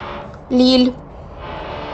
лилль